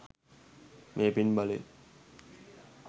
මේ පින් බලයෙන්